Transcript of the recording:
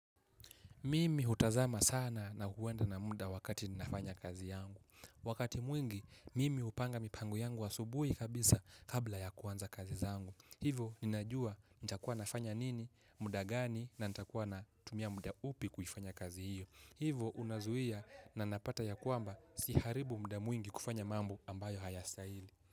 Mimi hutazama sana na kuenda na mda wakati ninafanya kazi yangu. Wakati mwingi, mimi hupanga mipango yangu asubuhi kabisa, kabla ya kuanza kazi zangu. Hivo, ninajua nitakuwa nafanya nini, mda gani, na ntakuwa na tumia mda upi kuifanya kazi hiyo. Hivo, unazuia na napata ya kwamba siharibu mda mwingi kufanya mambo ambayo hayastahili.